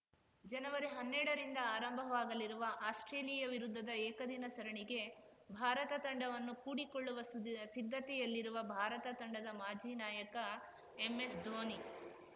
ಜನವರಿಹನ್ನೆರಡರಿಂದ ಆರಂಭವಾಗಲಿರುವ ಆಸ್ಪ್ರೇಲಿಯಾ ವಿರುದ್ಧದ ಏಕದಿನ ಸರಣಿಗೆ ಭಾರತ ತಂಡವನ್ನು ಕೂಡಿಕೊಳ್ಳುವ ಸುದ್ ಸಿದ್ಧತೆಯಲ್ಲಿರುವ ಭಾರತ ತಂಡದ ಮಾಜಿ ನಾಯಕ ಎಂಎಸ್‌ಧೋನಿ